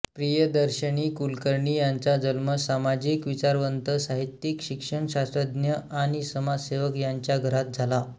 प्रियदर्शिनी कुलकर्णी यांचा जन्म सामाजिक विचारवंत साहित्यिक शिक्षणशास्त्रज्ञ आणि समाजसेवक यांच्या घरात झाला